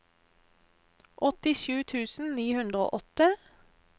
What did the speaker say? åttisju tusen ni hundre og åtte